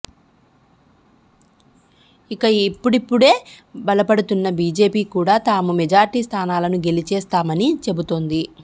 ఇక ఇప్పుడిప్పుడే బలపడుతున్న బీజేపీ కూడా తాము మెజార్టీ స్థానాలను గెలిచేస్తామని చెబుతోంది